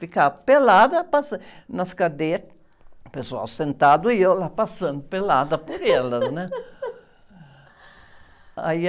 Ficar pelada, passando, nas cadeiras, o pessoal sentado e eu lá passando pelada por elas, né? Aí...